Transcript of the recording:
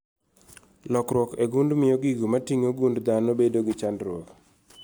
. Lokruok e gund mio gigo moting'o gund dhano bedo gi chandruok